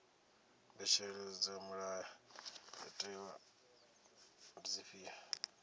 mbetshelo dza mulayotewa ndi dzifhio